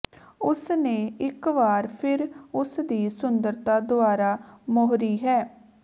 ਉਸ ਨੇ ਇਕ ਵਾਰ ਫਿਰ ਉਸ ਦੀ ਸੁੰਦਰਤਾ ਦੁਆਰਾ ਮੋਹਰੀ ਹੈ